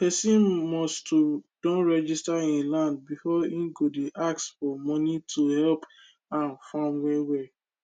pesin must to don register him land before him go dey ask for moni to helep am farm well well